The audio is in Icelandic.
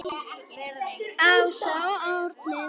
Ása og Árni.